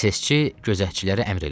SS-çi gözətçilərə əmr elədi.